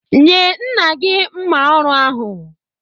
Nye nna gị mma ọrụ ahụ